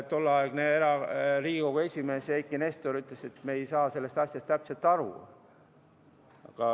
Tolleaegne Riigikogu esimees Eiki Nestor ütles, et me ei saa sellest asjast täpselt aru.